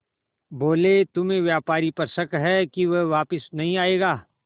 बोले तुम्हें व्यापारी पर शक है कि वह वापस नहीं आएगा